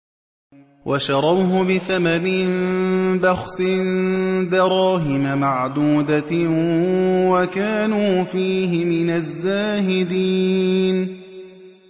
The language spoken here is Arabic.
وَشَرَوْهُ بِثَمَنٍ بَخْسٍ دَرَاهِمَ مَعْدُودَةٍ وَكَانُوا فِيهِ مِنَ الزَّاهِدِينَ